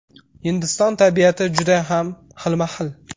Hindiston tabiati judayam xilma-xil.